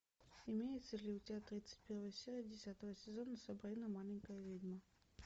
имеется ли у тебя тридцать первая серия десятого сезона сабрина маленькая ведьма